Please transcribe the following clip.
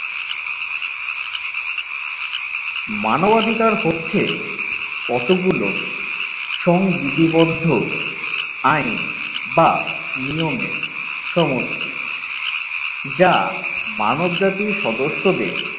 মানবাধিকার হচ্ছে কতগুলো সংবিধিবদ্ধ আইন বা নিয়মের সমষ্টি যা মানবজাতির সদস্যদের